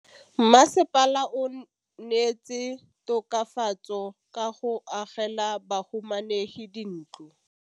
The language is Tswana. Mmasepala o neetse tokafatsô ka go agela bahumanegi dintlo.